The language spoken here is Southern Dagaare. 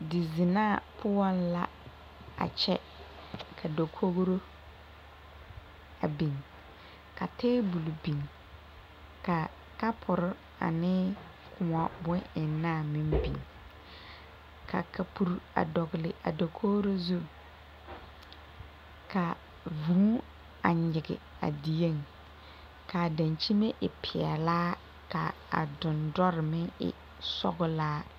Di zennaa poɔŋ la a kyɛ ka dakori a biŋ ka tabol biŋ, ka kapori ane koɔ bon ennaa meŋ biŋ, ka kapuri a dɔgeli a dakori. zu, ka vʋʋ a nyigi a dieŋ kaa dankyimɛ a e pɛlaa kaa dendoɔre meŋ e sɔglaa.